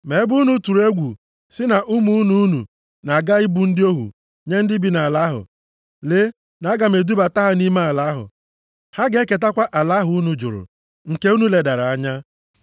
Ma ebe unu tụrụ egwu sị na ụmụ unu na-aga ibu ndị ohu nye ndị bi nʼala ahụ. Lee na aga m edubata ha nʼime ala ahụ. Ha ga-eketakwa ala ahụ unu jụrụ, nke unu ledara anya.